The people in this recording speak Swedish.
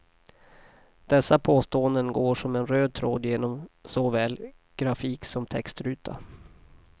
Dessa påståenden går som en röd tråd genom såväl grafik som textruta.